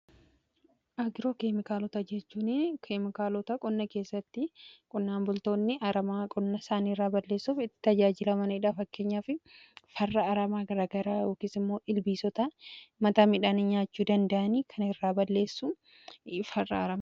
Agroo keemikaalota jechuun keemikaalota qonna keessatti qonnaan bultoonni aramaa qonna saanii irraa balleessuuf itti tajaajilamaniidhaa, fakkenyaa fi farraa aramaa gagara yookis immoo ilbiisota mataa midhaan nyaachuu dandayanii kan irraa balleessuu farraa aramaa jedhama.